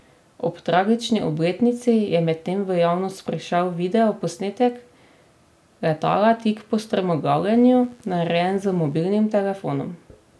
Ob tragični obletnici je medtem v javnost prišel video posnetek letala tik po strmoglavljenju, narejen z mobilnim telefonom.